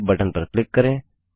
save button पर click करें